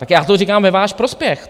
Tak já to říkám ve váš prospěch.